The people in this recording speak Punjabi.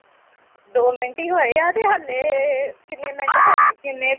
ਦੋ ਮਿੰਟ ਈ ਹੋਏ ਆ ਤੇ ਹਲੇ ਏ ਕੀਨੇ ਮਿੰਟ ਹੋਗੇ ਕੀਨੇ ਤੀਹ ਆ